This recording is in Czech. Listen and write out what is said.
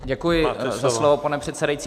Děkuji za slovo, pane předsedající.